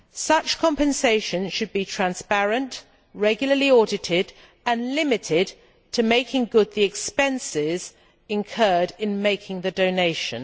Such compensation should be transparent, regularly audited and limited to making good the expenses incurred in making the donation.